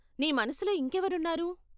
నీ మనసులో ఇంకెవరు ఉన్నారు?